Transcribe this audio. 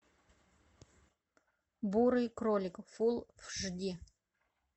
бурый кролик фул аш ди